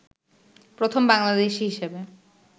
প্রথম বাংলাদেশী হিসাবে